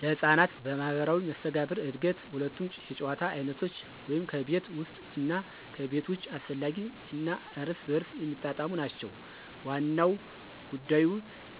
ለሕፃናት ማህበራዊ መስተጋብር እድገት ሁለቱም የጨዋታ አይነቶች (ከቤት ውስጥ እና ከቤት ውጭ) አስፈላጊ እና እርስ በርስ የሚጣጣሙ ናቸው። ዋናው ጉዳይ